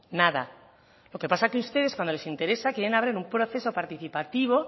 nada lo que pasa es que a ustedes cuando les interesa quieren abrir un proceso participativo